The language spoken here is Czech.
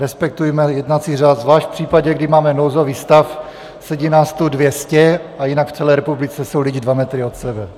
Respektujme jednací řád, zvlášť v případě, kdy máme nouzový stav, sedí nás tu dvě stě a jinak v celé republice jsou lidi dva metry od sebe.